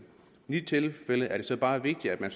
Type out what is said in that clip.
i de tilfælde er det så bare vigtigt at